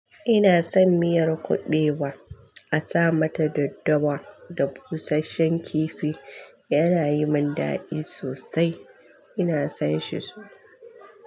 Ina son miyar kuɓewa a sa mata daddawa da busasshen kifi. Yana yi mun dadi sosai. Ina son shi sosai.